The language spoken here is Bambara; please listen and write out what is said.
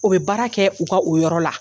O bɛ baara kɛ, o ka o yɔrɔ la.